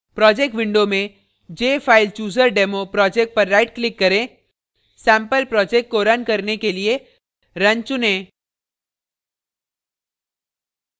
project window में jfilechooserdemo project पर right click करें सेम्पल project को रन करने के लिए run चुनें